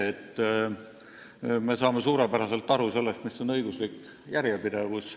Me saame suurepäraselt aru sellest, mis on õiguslik järjepidevus.